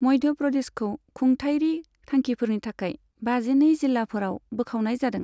मध्य प्रदेशखौ खुंथायरि थांखिफोरनि थाखाय बाजिनै जिल्लाफोराव बोखावनाय जादों।